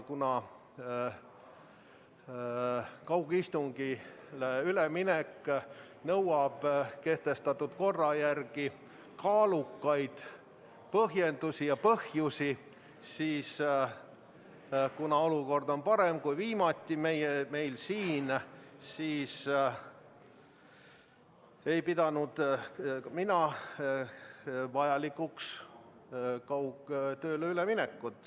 Kaugistungile üleminek nõuab kehtestatud korra järgi kaalukaid põhjusi ja kuna olukord on parem, kui viimati oli, siis ei pidanud mina vajalikuks kaugtööle üle minna.